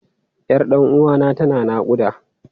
Yar ɗan uwana tana naƙuda.